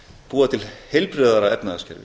búa til heilbrigðara efnahagskerfi